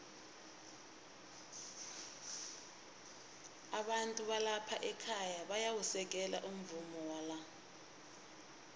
abantu balapha ekhaya bayawusekela umvumo wala